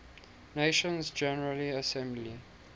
nations general assembly